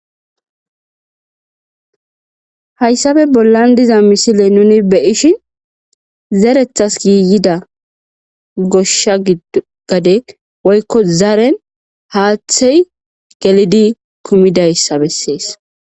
Hayssafe bollan diza misile nuni beyishi zerethas giiyida goshsha gade woykko zaren haaththey gelidi kumidayssa bessees.